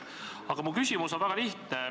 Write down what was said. Aga minu küsimus on väga lihtne.